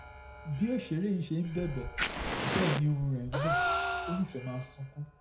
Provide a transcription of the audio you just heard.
bí òṣèré yìí ṣe ń bẹ̀bẹ̀ bẹ́ẹ̀ ni ohùn rẹ̀ ń gbọ̀n tó sì fẹ́ẹ́ máa sunkún